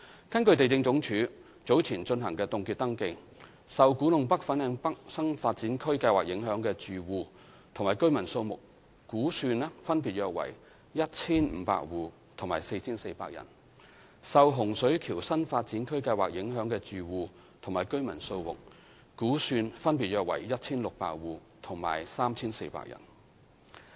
根據地政總署早前進行的凍結登記，受古洞北/粉嶺北新發展區計劃影響的住戶及居民數目估算分別約為 1,500 戶及 4,400 人；受洪水橋新發展區計劃影響的住戶及居民數目估算分別約為 1,600 戶及 3,400 人。